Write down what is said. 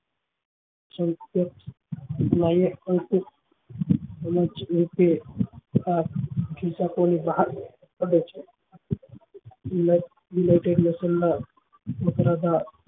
જે વાપરતા